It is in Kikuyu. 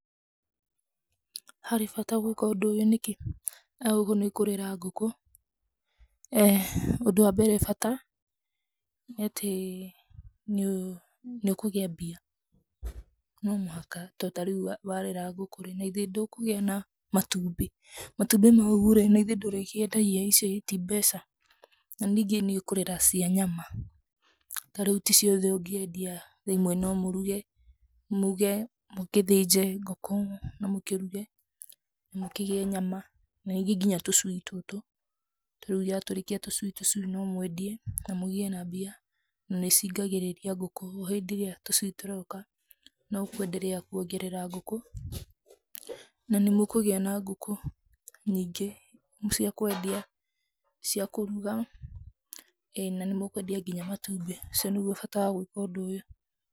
Harĩ bata gwĩka ũndũ ũyũ nĩkĩ? gũkũ nĩkũrera ngũkũ ũndũ wa mbere bata nĩ atĩ nĩ ũkũgĩa mbia no mũhaka to tarĩũ warera ngũkũ rĩ nagĩthĩ ndũkũgĩa na matũmbi matũmbĩ maũ rĩ nagĩthĩ ndũrĩkĩendagia icio i ti mbeca na ningĩ nĩ ũkũrera cia nyama tarĩũ tĩ ciothe ũngĩendia ĩmwe no mũrũge mũge mũgĩthĩnje ngũkũ na mũkĩrũge mũkĩgĩe nyama na rĩngĩ nginya tũcui tũtũ tarĩũ ya tũrĩkia tũcui tũcui no mwendie na mũgĩe na mbia na nĩciingagĩrĩria ngũkũ hĩndĩ ĩrĩa tũcuĩ tũroka no kwendelea kũongerera ngũkũ na nĩmũkũgĩa na ngũkũ nyingĩ cia kwendia ,ciakũrũga eeh na nĩmũkwendia nginya matũmbi ũcio nĩ gũo bata wa gwĩka ũndũ ũyũ.